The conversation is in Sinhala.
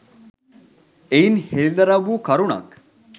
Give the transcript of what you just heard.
එයින් හෙළිදරව් වූ කරුණක්